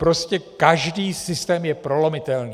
Prostě každý systém je prolomitelný.